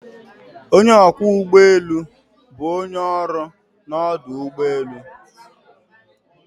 Onye ọkwọ ụgbọ elu bụ onye ọrụ n'ọdụ ụgbọ elu.